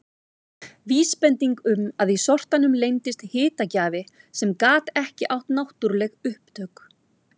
Vísbending um að í sortanum leyndist hitagjafi sem gat ekki átt náttúruleg upptök.